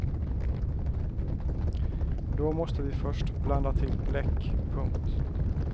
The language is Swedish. Då måste vi först blanda till bläck. punkt